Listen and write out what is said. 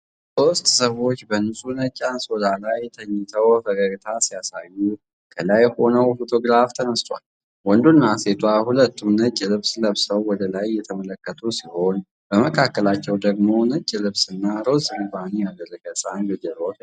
ሦስት ሰዎች በንጹህ ነጭ አንሶላ ላይ ተኝተው ፈገግታ ሲያሳዩ ከላይ ሆነው ፎቶግራፍ ተነስተዋል። ወንዱና ሴቷ ሁለቱም ነጭ ልብስ ለብሰው ወደ ላይ እየተመለከቱ ሲሆን፣ በመካከላቸው ደግሞ ነጭ ልብስና ሮዝ ሪባን ያደረገ ሕፃን በጀርባው ተኝቷል።